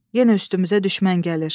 yenə üstümüzə düşmən gəlir.